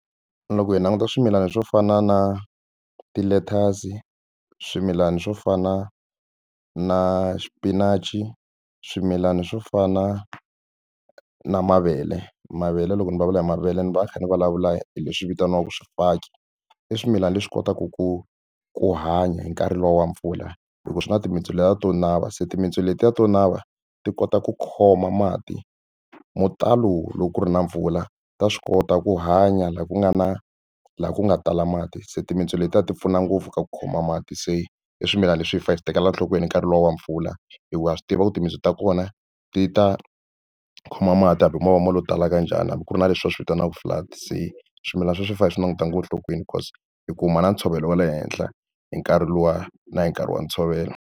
Loko hi languta swimilana swo fana na ti-lettuce swimilana swo fana na xipinachi swimilana swo fana na mavele mavele loko ni va vula hi mavele ni va ni kha ni vulavula hi leswi vitaniwaka swifaki i swimilana leswi kotaka ku ku hanya hi nkarhi luwa wa mpfula hikuva swi na timitsu letiya to nava se timintsu letiya to nava ti kota ku khoma mati mo talo loko ku ri na mpfula ta swi kota ku hanya laha ku nga na laha ku nga tala mati se timitsu letiya ti pfuna ngopfu ka ku khoma mati se i swimilana leswi hi fa hi swi tekela enhlokweni nkarhi luwa wa mpfula hikuva ha swi tiva ku timintsu ta kona ti ta kuma mati hambi hi movha mali yo talaka njhani hambi ku ri na leswi va swi vitanaka flood se swimilana swi fa hi swi languta ngo enhlokweni because i kuma na ntshovelo wa le henhla hi nkarhi luwa na hi nkarhi wa ntshovelo.